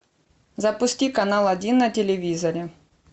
запусти канал один на телевизоре